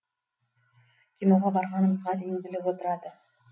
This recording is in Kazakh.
киноға барғанымызға дейін біліп отырады